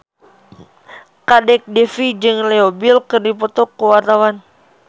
Kadek Devi jeung Leo Bill keur dipoto ku wartawan